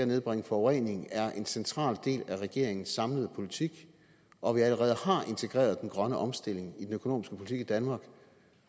nedbringe forurening er en central del af regeringens samlede politik og at vi allerede har integreret den grønne omstilling i den økonomiske politik i danmark